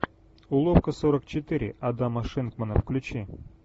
уловка сорок четыре адама шинкмана включи